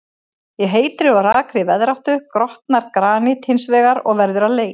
Í heitri og rakri veðráttu grotnar granít hins vegar og verður að leir.